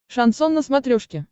шансон на смотрешке